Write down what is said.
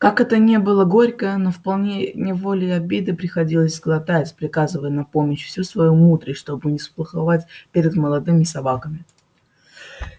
как это ни было горько но вполне неволей обиды приходилось глотать приказывая на помощь всю свою мудрость чтобы не сплоховать перед молодыми собаками